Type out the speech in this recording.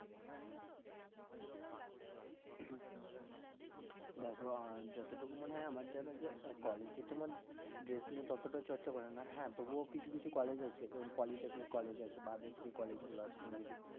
দ্যাখো আহ যতটুকু মনে হয় আমার যেন যে আহ college এ তোমার dress নিয়ে ততটা চর্চা করে না, হ্যাঁ তবুও কিছু কিছু college আছে যেমন politechnic college আছে বা others যে college গুলো আছে তুমি যদি